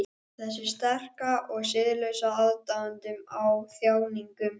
Þessi sterka og siðlausa aðdáun á þjáningum.